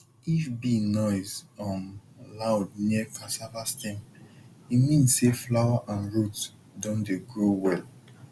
if bee noise um loud near cassava stem e mean say flower and root don dey grow well